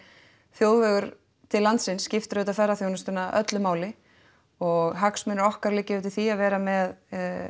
þjóðvegur til landsins skiptir auðvitað ferðaþjónustuna öllu máli og hagsmunir okkar liggja auðvitað í því að vera með